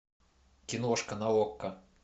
киношка на окко